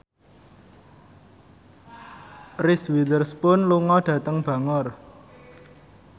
Reese Witherspoon lunga dhateng Bangor